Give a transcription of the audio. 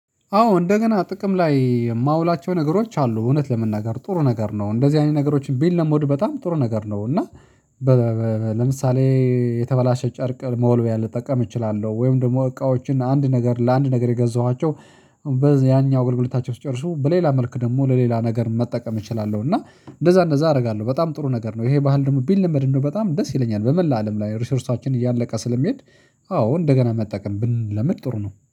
አዎ እንደገና ጥቅም ላይ የማውላቸው ነገሮች አሉ፤ እውነት ለመናገር ጥሩ ነገር ነው። እንደዚህ አይነት ነገሮችን ቢለመዱ በጣም ጥሩ ነገር ነው፤ እና በ ለምሳሌ የተበላሸ ጨርቅ መወልወያ ልጠቀም እችላለሁ፤ ወይም ደግሞ እቃዎችን አንድ ነገር ለአንድ ነገር የገዛኋቸው ያኛው አገልግሎታቸው ሲጨርሱ በሌላ መልክ ደግሞ ለሌላ ነገር መጠቀም እችላለሁ፤ እና እንደዚያ እንደዚያ አደርጋለሁ። በጣም ጥሩ ነገር ነው። ይሄ ባህል ደግሞ ቢለመድ እንደው በጣም ደስ ይለኛል፤ በሙላው አለም ላይ ሪሶርሳችን እያለቀ ስለሚሄድ አዎ እንደገና መጠቀም ብንለምድ ጥሩ ነው።